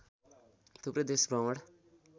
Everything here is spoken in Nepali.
थुप्रै देश भ्रमण